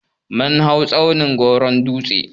Mun hau tsaunin gwawron dutse.